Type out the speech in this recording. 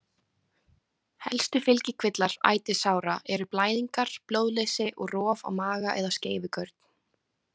Helstu fylgikvillar ætisára eru blæðingar, blóðleysi og rof á maga eða skeifugörn.